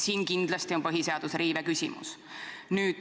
Siin kindlasti on põhiseaduse riive küsimus.